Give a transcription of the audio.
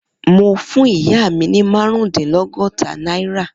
Mo fún ìyá mi ní márùndínlọ́gọ́ta náírà.